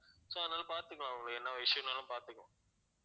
so அதனால பாத்துக்கலாம் உங்களுக்கு என்ன issue னாலும் பாத்துக்கலாம்